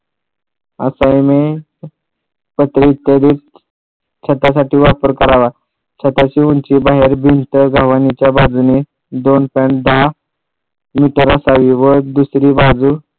cement पत्रे इत्यादी छतासाठी वापर करावा छताची उंची बाहेर भिंत गव्हाणीच्या बाजूनी दोन point दहा मीटर असावी व दुसरी बाजू